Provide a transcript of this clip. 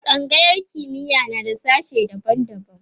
tsangayar kimiya na da sashe daban daban